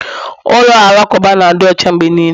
Ụlọ alakụba na-adị ọcha mgbe niile